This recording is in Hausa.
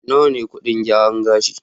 Nawa ne kuɗin gyaran gashi?